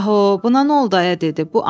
“Baho, buna nə oldu ayə?” dedi.